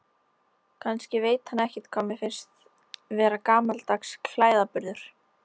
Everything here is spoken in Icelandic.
Kannski veit hann ekkert hvað mér finnst vera gamaldags klæðaburður.